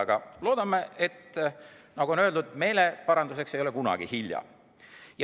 Aga loodame, nagu on öeldud, et meeleparanduseks ei ole kunagi hilja.